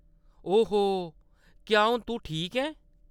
ओ हो.., क्या हून तूं ठीक ऐं ?